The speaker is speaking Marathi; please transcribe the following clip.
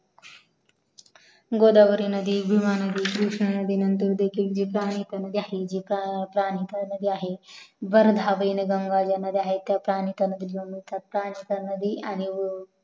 गोदावरी नदी भीमा नदी कृष्णा नदी त्या नंतर देखील जी प्रमुख्य नदी आहेत वर्धा वेनगंगा ज्या नद्या आहेत आणि